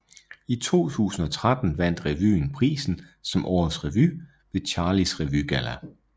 I 2013 vandt revyen prisen som Årets Revy ved Charlies Revygalla